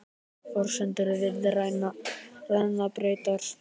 Forsendur viðræðna breyttar